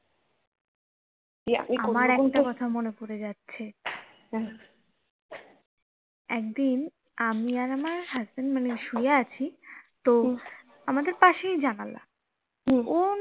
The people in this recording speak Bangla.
আমার একটা কথা মনে পড়ে যাচ্ছে একদিন আমি আর আমার husband মানে শুয়ে আছি তো আমাদের পাশেই জানালা